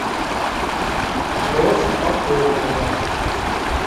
роза пахомова